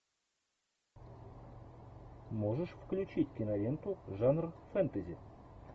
можешь включить киноленту жанр фэнтези